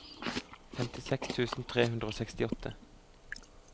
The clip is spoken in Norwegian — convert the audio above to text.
femtiseks tusen tre hundre og sekstiåtte